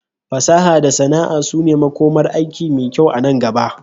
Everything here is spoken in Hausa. Fasaha da sana'a su ne makomar aiki mai kyau anan gaba.